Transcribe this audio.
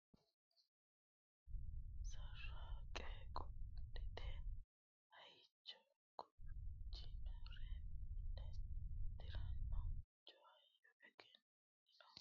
sarraanqe qodhate hayyicha gurchinore male tiranno mancho hayyo ogimma hegere seeda woy lowo diro hembeelama haaruri kalaqameenna assinannire hoonge dodama hexxa ikkanno yine agadha hiito futtunni loonsoonniti gonfa qodhinannite hoola halaaleho !